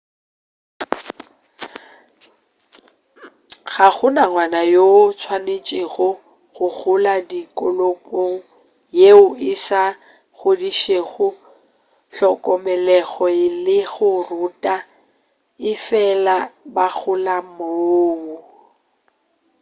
ga gona ngwana yoo a swanetšego go gola tikologong yeo e sa godišego hlokomelego le go ruta efela ba gola moo